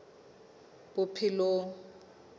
bophelong